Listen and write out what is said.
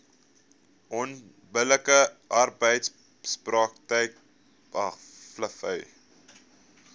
onbillike arbeidspraktyk uitmaak